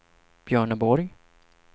Björneborg